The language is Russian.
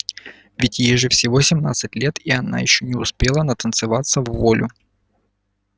ведь ей же всего семнадцать лет и она ещё не успела натанцеваться вволю